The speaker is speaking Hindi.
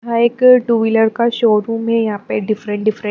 यहां एक टू व्हीलर का है यहां पे डिफरेंट डिफरेंट ---